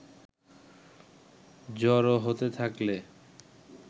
জড়ো হতে থাকলে